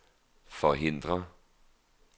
forhindre